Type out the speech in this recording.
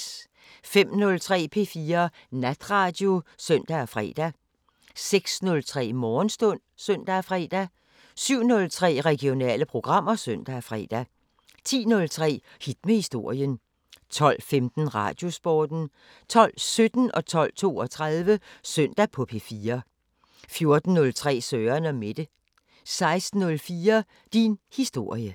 05:03: P4 Natradio (søn og fre) 06:03: Morgenstund (søn og fre) 07:03: Regionale programmer (søn og fre) 10:03: Hit med historien 12:15: Radiosporten 12:17: Søndag på P4 12:32: Søndag på P4 14:03: Søren & Mette 16:04: Din historie